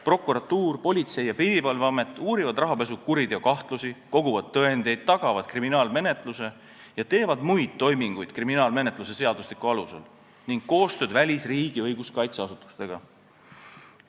Prokuratuur ning Politsei- ja Piirivalveamet uurivad rahapesukahtlusi, koguvad tõendeid, tagavad kriminaalmenetluse ja teevad muid toiminguid kriminaalmenetluse seadustiku alusel ning koostööd välisriikide õiguskaitseasutustega.